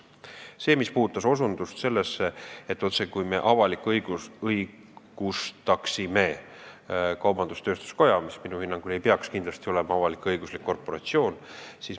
Siin osutati sellele, et me otsekui n-ö avalik-õigustaksime kaubandus-tööstuskoja, mis minu hinnangul ei peaks kindlasti olema avalik-õiguslik korporatsioon.